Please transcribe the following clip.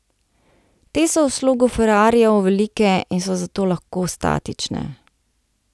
Te so v slogu ferrarijev velike in so zato lahko statične.